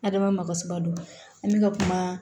Hadama makasaba don an bɛ ka kuma